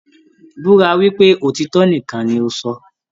Búra wípé òtítọ nìkàn ní o sọ!